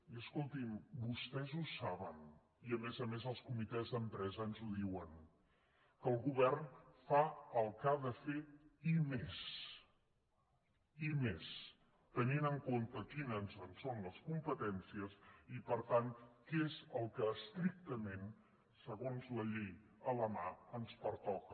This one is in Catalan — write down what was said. i escoltin vostès ho saben i a més a més els comitès d’empresa ens ho diuen que el govern fa el que ha de fer i més i més tenint en compte quines són les competències i per tant què és el que estrictament segons la llei a la mà ens pertoca